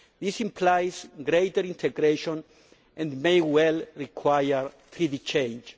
This implies greater integration and may well require treaty change.